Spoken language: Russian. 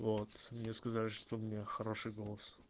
вот мне сказали что у меня хороший голос